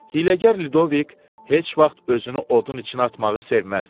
Hiyləgər Ludovik heç vaxt özünü odun içinə atmağı sevməzdi.